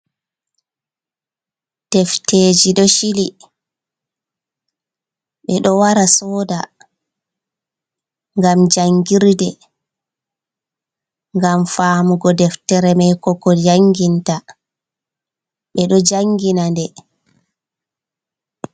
Defteji ɗo shili ɓeɗo wara soda ngam jangirde, ngam famugo deftere mai ko ko janginta. Ɓeɗo jangina nde.